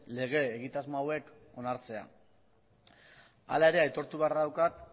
lege egitasmo hauek onartzea hala ere aitortu beharra daukat